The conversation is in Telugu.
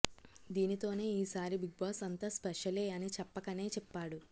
దీనితోనే ఈ సారి బిగ్ బాస్ అంతా స్పెషలే అని చెప్పకనే చెప్పాడు